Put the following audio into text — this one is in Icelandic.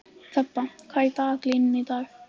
Þeba, hvað er í dagatalinu í dag?